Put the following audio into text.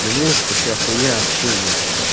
ну музыка вся хуйня общение